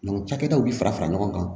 cakɛdaw bi fara fara ɲɔgɔn kan